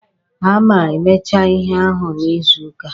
A ma-emecha ihe ahụ n'izuuka a.